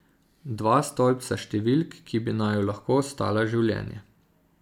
Dva stolpca številk, ki bi naju lahko stala življenje.